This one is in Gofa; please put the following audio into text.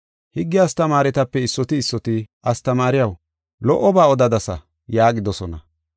Higge astamaaretape issoti issoti, “Astamaariyaw, lo77oba odadasa” yaagidosona.